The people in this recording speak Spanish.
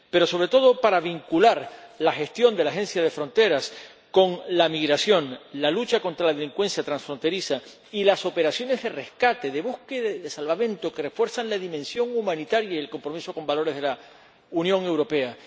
pero, sobre todo, para vincular la gestión de la Agencia con la migración, la lucha contra la delincuencia transfronteriza y las operaciones de rescate, de búsqueda y de salvamento, que refuerzan la dimensión humanitaria y el compromiso con valores de la Unión Europea.